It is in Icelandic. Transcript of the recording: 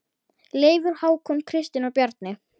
Leifur, Hákon, Kristín og Bjarni.